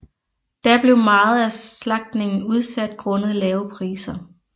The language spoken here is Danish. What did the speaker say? Da blev meget af slagtningen udsat grundet lave priser